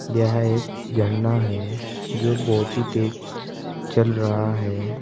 यह एक झरना है जो बहोत ही तेज चल रहा है।